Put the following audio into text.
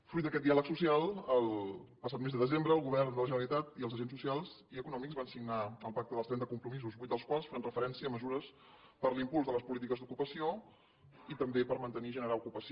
fruit d’aquest diàleg social el passat mes de desembre el govern de la generalitat i els agents socials i econòmics van signar el pacte dels trenta compromisos vuit dels quals fan referència a mesures per a l’impuls de les polítiques d’ocupació i també per mantenir i generar ocupació